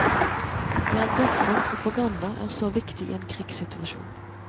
Det er derfor propaganda er så viktig i en krigssituasjon.